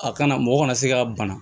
A kana mɔgɔ kana se ka bana